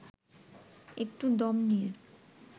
একটু দম নিয়ে